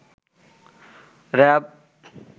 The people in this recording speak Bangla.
র‌্যাব